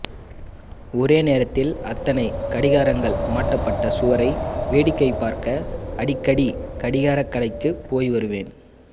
ஒரே நேரத்தில் அத்தனை கடிகாரங்கள் மாட்டப்பட்ட சுவரை வேடிக்கை பார்க்க அடிக்கடி கடிகாரக் கடைக்குப் போய்வருவேன்